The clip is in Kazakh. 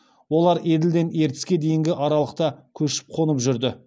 олар еділден ертіске дейінгі аралықта көшіп қонып жүрді